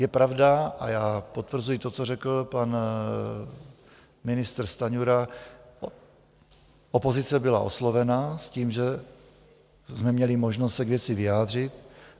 Je pravda - a já potvrzuji to, co řekl pan ministr Stanjura - opozice byla oslovena s tím, že jsme měli možnost se k věci vyjádřit.